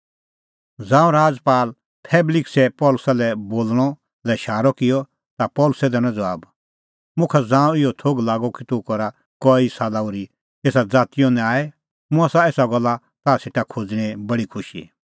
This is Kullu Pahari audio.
ज़ांऊं राजपाल फेलिक्सै पल़सी लै बोल़णा लै शारअ किअ ता पल़सी दैनअ ज़बाब मुखा ज़ांऊं इहअ थोघ लागअ कि तूह करा कई साला ओर्ही एसा ज़ातीओ न्याय मुंह आसा एसा गल्ला ताह सेटा खोज़णें बडी खुशी